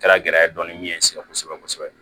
Kɛra gɛlɛya ye dɔɔni ɲɛ n sɛgɛn kosɛbɛ kosɛbɛ